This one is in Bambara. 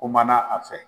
Kumana a fɛ